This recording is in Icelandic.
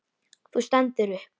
Þú stendur upp.